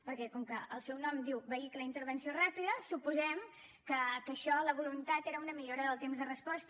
perquè com que el seu nom diu vehicle d’intervenció ràpida suposem que la voluntat era una millora del temps de resposta